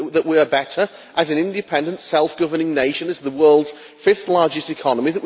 that we are better as an independent, self governing nation, as the world's fifth largest economy